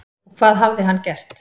Og hvað hafði hann gert?